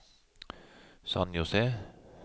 San José